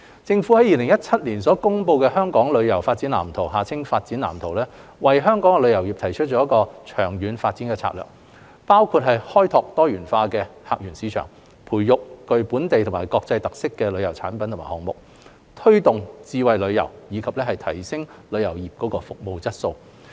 政府於2017年公布的《香港旅遊業發展藍圖》為香港旅遊業提出長遠發展策略，包括開拓多元化客源市場、培育具本地及國際特色的旅遊產品及項目，推動智慧旅遊，以及提升旅遊業服務質素。